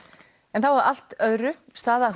en þá að allt öðru staða